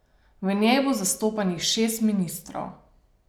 V njej bo zastopanih šest ministrov.